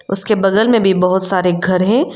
उसके बगल में भी बहोत सारे घर है।